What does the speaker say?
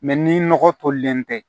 ni nɔgɔ tolilen tɛ